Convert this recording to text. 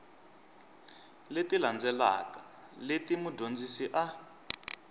leti landzelaka leti mudyondzi a